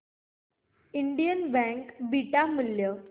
Indian bank चे beta मूल्य